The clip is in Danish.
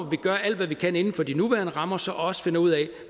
vi gør alt hvad vi kan inden for de nuværende rammer så også finder ud af